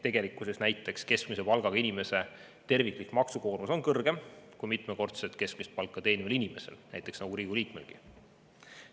Tegelikkuses on näiteks keskmise palgaga inimese terviklik maksukoormus kõrgem kui mitmekordset keskmist palka teenival inimesel, nagu Riigikogu liikmelgi.